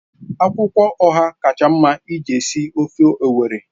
Akwụkwọ Ọha kacha mma iji sie ofe Owerri